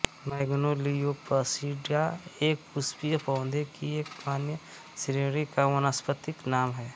Magnoliopsida एक पुष्पीय पौधे की एक मान्य श्रेणी का वानस्पतिक नाम है